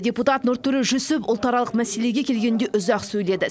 депутат нұртөре жүсіп ұлтаралық мәселеге келгенде ұзақ сөйледі